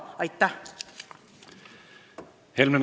Aitäh!